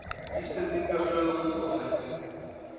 Íslendinga sögur og þættir.